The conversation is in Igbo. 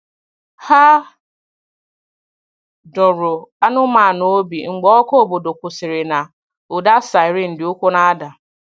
Hà dọ̀ọrọ anụ́manụ obi mgbe ọkụ̀ obodo kwụsịrị̀ na ụda siren dị ukwuù na-ada.